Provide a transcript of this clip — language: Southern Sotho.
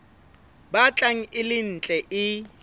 batlang e le ntle e